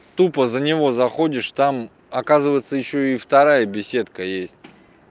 тупо за него заходишь там оказывается ещё и вторая беседка есть